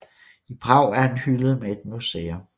I Prag er han hyldet med et museum